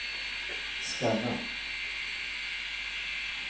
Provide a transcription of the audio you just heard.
scanna